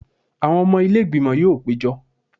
Àwọn ọmọ ilé ìgbìmọ̀ yóò péjọ